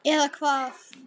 Eða hvað.